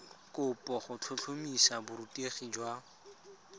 kopo go tlhotlhomisa borutegi jwa